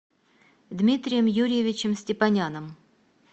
дмитрием юрьевичем степаняном